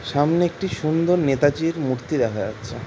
সামনে একটি সুন্দর নেতাজির মূর্তি দেখা যাচ্ছে ।